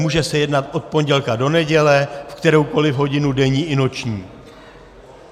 Může se jednat od pondělka do neděle, v kteroukoliv hodinu denní i noční.